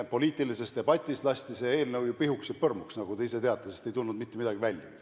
Poliitilises debatis aga lasti see eelnõu ju pihuks ja põrmuks, nagu te isegi teate, sellest ei tulnud mitte midagi välja.